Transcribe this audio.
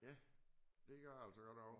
Ja. Det gør jeg altså godt også